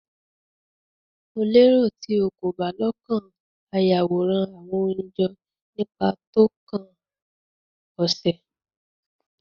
Mo lero ti o ko ba lokan a Yaworan awọn oyin jọ nipa tókàn ose